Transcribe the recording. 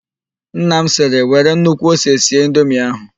Nna m sịrị, " were nnukwu ose sie indomie ahụ"!